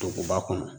Duguba kɔnɔ